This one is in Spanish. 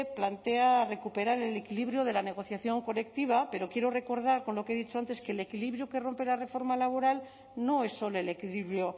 plantea recuperar el equilibrio de la negociación colectiva pero quiero recordar con lo que he dicho antes que el equilibrio que rompe la reforma laboral no es solo el equilibrio